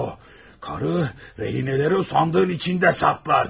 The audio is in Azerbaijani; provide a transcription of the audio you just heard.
Karı, rehinələri sandığın içində saxlayırdı.